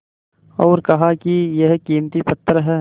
और कहा कि यह कीमती पत्थर है